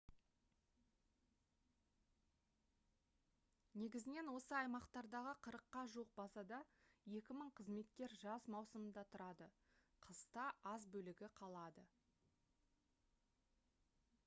негізінен осы аймақтардағы қырыққа жуық базада екі мың қызметкер жаз маусымында тұрады қыста аз бөлігі қалады